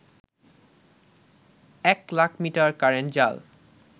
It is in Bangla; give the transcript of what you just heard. এক লাখমিটার কারেন্ট জাল